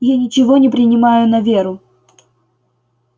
я ничего не принимаю на веру